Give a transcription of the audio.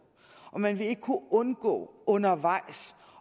og man vil ikke kunne undgå undervejs